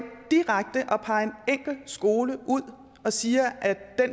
skole og siger